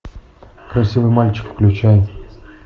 красивый мальчик включай